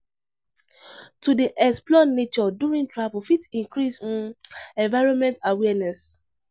To dey explore nature during travel fit increase um environmental awareness.